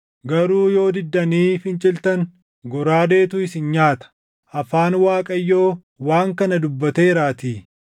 garuu yoo diddanii finciltan goraadeetu isin nyaata.” Afaan Waaqayyoo waan kana dubbateeraatii.